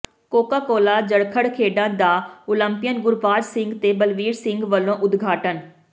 ਕੋਕਾ Cola Jarkhar ਖੇਡਾਂ ਦਾ Olympian Gurbaj Singh ਤੇ ਬਲਵੀਰ ਸਿੰਘ ਵੱਲੋਂ ਉਦਘਾਟਨ